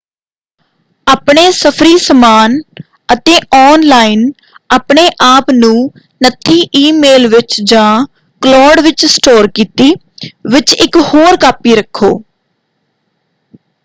ਆਪਣੇ ਸਫ਼ਰੀ-ਸਮਾਨ ਅਤੇ ਆੱਨਲਾਈਨ ਆਪਣੇ ਆਪ ਨੂੰ ਨੱਥੀ ਈਮੇਲ ਵਿੱਚ ਜਾਂ ਕਲੋਡ ਵਿੱਚ ਸਟੋਰ ਕੀਤੀ ਵਿੱਚ ਇਕ ਹੋਰ ਕਾਪੀ ਰੱਖੋ।